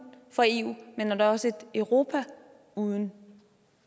for eu men også et europa uden